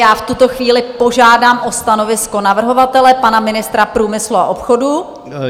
Já v tuto chvíli požádám o stanovisko navrhovatele, pana ministra průmyslu a obchodu.